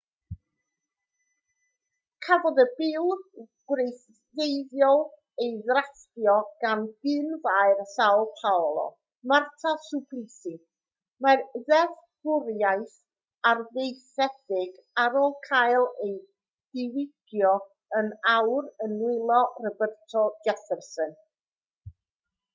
cafodd y bil gwreiddiol ei ddrafftio gan gyn-faer são paolo marta suplicy. mae'r ddeddfwriaeth arfaethedig ar ôl cael ei diwygio yn awr yn nwylo roberto jefferson